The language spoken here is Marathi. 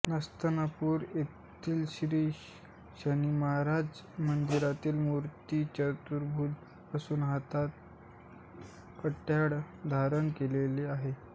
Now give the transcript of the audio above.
नस्तनपूर यथील श्री शनीमहाराज मंदिरातील मूर्ती चतुर्भुज असून हातात कट्यार धारण केलेली आहे